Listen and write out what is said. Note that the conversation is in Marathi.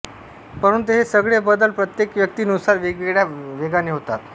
परंतु हे सगळे बदल प्रत्येक व्यक्ती नुसार वेगवेगळ्या वेगाने होतात